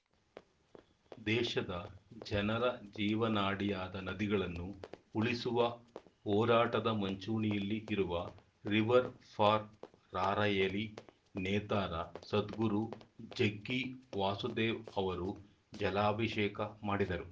ದೇಶದ ಜನರ ಜೀವನಾಡಿಯಾದ ನದಿಗಳನ್ನು ಉಳಿಸುವ ಹೋರಾಟದ ಮುಂಚೂಣಿಯಲ್ಲಿ ಇರುವ ರಿವರ್‌ ಫಾರ್‌ ರಾರ‍ಯಲಿ ನೇತಾರ ಸದ್ಗುರು ಜಗ್ಗಿ ವಾಸುದೇವ್‌ ಅವರು ಜಲಾಭಿಷೇಕ ಮಾಡಿದರು